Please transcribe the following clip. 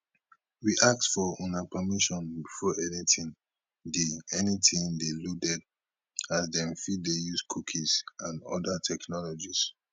we ask for una permission before anytin dey anytin dey loaded as dem fit dey use cookies and oda technologies